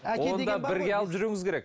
оны да бірге алып жүруіңіз керек